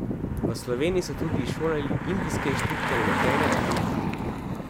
V Sloveniji so tudi izšolali indijske inštruktorje letenja in mehanike.